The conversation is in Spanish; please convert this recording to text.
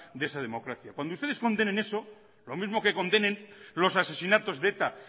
de esa democracia cuando ustedes condenen eso lo mismo que condenen los asesinatos de eta